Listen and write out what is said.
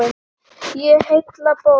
Í heilli bók.